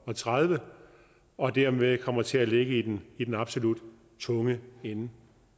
og tredive og dermed kommer til at ligge i den i den absolut tunge ende